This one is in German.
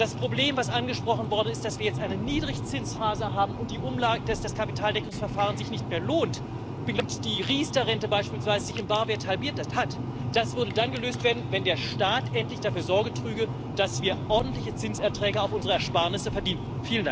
Das Problem, das angesprochen worden ist, dass wir jetzt eine Niedrigzinsphase haben und dass das Kapitaldeckungsverfahren sich nicht mehr lohnt und die Riester Rente beispielsweise sich im Barwert halbiert hat, würde dann gelöst werden, wenn der Staat endlich dafür Sorge trüge, dass wir ordentliche Zinserträge auf unsere Ersparnisse verdienten.